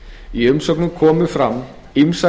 í umsögnum komu fram ýmsar